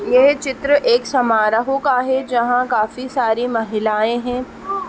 यह चित्र एक समारोह का है जहां काफी सारी महिलाएं हैं|